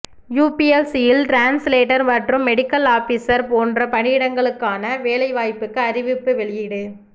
யூபிஎஸ்சியில் translator மற்றும் medical officer போன்ற பணியிடங்களுக்கான வேலை வாய்ப்புக்கு அறிவிப்பு வெளியீடு